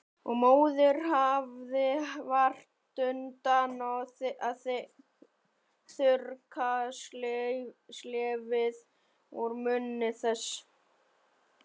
Og móðirin hafði vart undan að þurrka slefið úr munni þess.